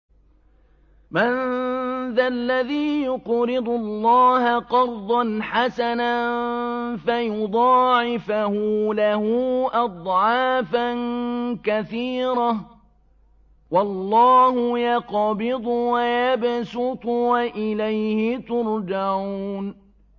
مَّن ذَا الَّذِي يُقْرِضُ اللَّهَ قَرْضًا حَسَنًا فَيُضَاعِفَهُ لَهُ أَضْعَافًا كَثِيرَةً ۚ وَاللَّهُ يَقْبِضُ وَيَبْسُطُ وَإِلَيْهِ تُرْجَعُونَ